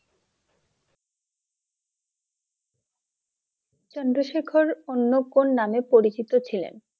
চন্দ্রশেখর অন্য কোন নামে পরিচিত ছিলেন?